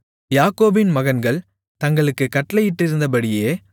யாக்கோபின் மகன்கள் தங்களுக்குக் கட்டளையிட்டிருந்தபடியே